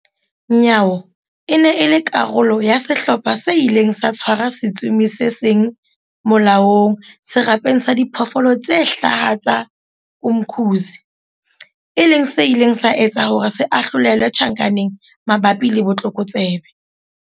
Nyawo e ne e le karolo ya sehlopha se ileng sa tshwara setsomi se seng molaong Serapeng sa Diphoofolo tse Hlaha sa Umkhuze, e leng se ileng sa etsa hore se ahlolelwe tjhankaneng mabapi le botlokotsebe.